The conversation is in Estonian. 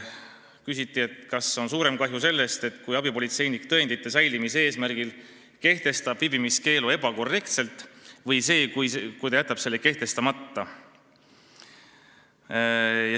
Küsiti, kas suurem kahju tekib sellest, kui abipolitseinik tõendite säilimise eesmärgil kehtestab viibimiskeelu ebakorrektselt, või sellest, kui ta jätab selle kehtestamata.